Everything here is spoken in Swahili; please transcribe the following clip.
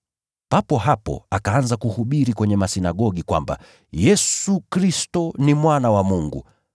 Papo hapo akaanza kuhubiri kwenye masinagogi kwamba “Yesu Kristo ni Mwana wa Mungu”